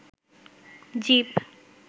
zip